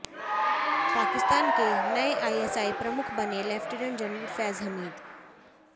पाकिस्तान के नए आईएसआई प्रमुख बने लेफ्टिनेंट जनरल फैज हमीद